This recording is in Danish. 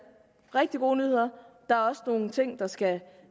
rigtig gode nyheder der er også nogle ting der skal